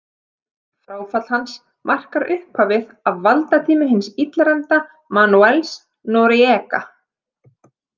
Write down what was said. Fráfall hans markar upphafið af valdatíma hins illræmda Manuels Noriega.